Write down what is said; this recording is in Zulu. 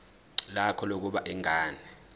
lakho lokubona ingane